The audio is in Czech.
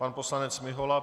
Pan poslanec Mihola.